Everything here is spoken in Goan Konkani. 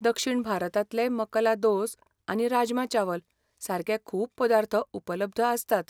दक्षिण भारतांतले मकला दोस आनी राजमा चावल सारकें खूब पदार्थ उपलब्ध आसतात.